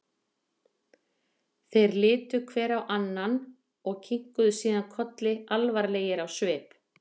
Þeir litu hver á annan og kinkuðu síðan kolli alvarlegir á svip.